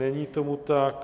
Není tomu tak.